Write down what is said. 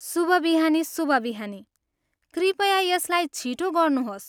शुभ बिहानी, शुभ बिहानी, कृपया यसलाई छिटो गर्नुहोस्।